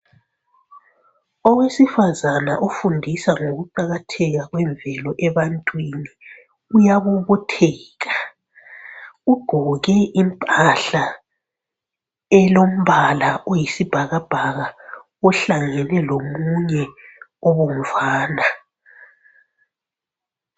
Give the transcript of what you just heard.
Owesifazana ofundisa ngokuqakatheka kwemvelo ebantwini uyabobotheka, ugqoke impahla elombala oyisibhakabhaka ehlangene lomunye obomvana.